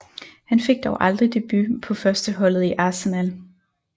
Han fik dog aldrig debut på førsteholdet i Arsenal